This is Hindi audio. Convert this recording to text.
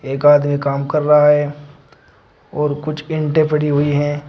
एक आदमी काम कर रहा है और कुछ ईंटे पड़ी हुई हैं।